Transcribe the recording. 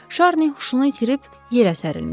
Şarni huşunu itirib yerə sərəlmişdi.